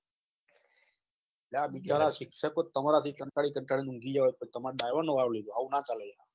લા બીચારા શિક્ષકો તમારાથી કંટાળી કંટાળી ને ઊંઘી ગયા હોય તો તમાર driver નો વારો લીધો આવું ના ચાલે